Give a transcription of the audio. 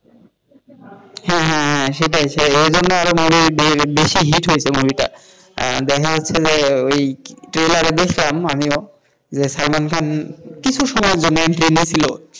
হ্যাঁ হ্যাঁ হ্যাঁ সেটাই সেই জন্য আরো বেশি হিট হয়েছে মুভটা দেখা যাচ্ছে যে trailer দেখছিলাম আমিও যে সালমান খান কিছু সময়ের জন্য entry নিয়েছিল,